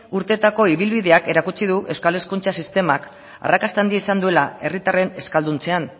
urteetako ibilbideak erakutsiko du euskal hezkuntza sistemak arrakasta handia izan duela herritarren euskalduntzean